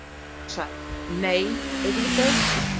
Hún sagði: Nei, auðvitað ekki.